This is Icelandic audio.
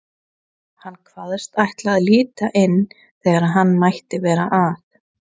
Hann kvaðst ætla að líta inn þegar hann mætti vera að.